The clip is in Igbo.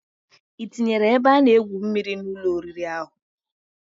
Itinyere ebe ana egwu mmiri an Ụlọ oriri ahu?